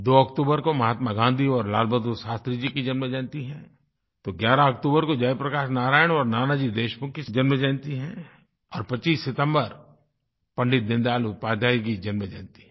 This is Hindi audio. दो अक्तूबर को महात्मा गाँधी और लाल बहादुर शास्त्री जी की जन्म जयंती है तो 11 अक्तूबर को जयप्रकाश नारायण और नानाजी देशमुख की जन्मजयंती है और 25 सितम्बर पंडित दीनदयाल उपाध्याय जी की जन्मजयंती है